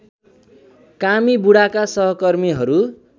कामी बुढाका सहकर्मीहरू